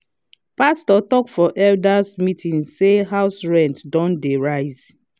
pastor talk for elders meeting say house rent don dey rise.